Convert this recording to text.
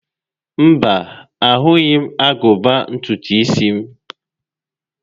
Mba, ahụghị m agụba ntutu isi m